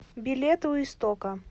билет у истока